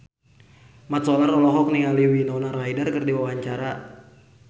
Mat Solar olohok ningali Winona Ryder keur diwawancara